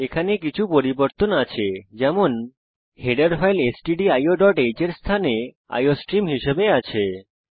এখানে কিছু পরিবর্তন আছে যেমন হেডার ফাইল stdioহ্ এর স্থানে আইওস্ট্রিম হিসেবে আছে